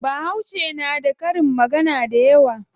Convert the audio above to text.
Bahauce na da karin magana dayawa.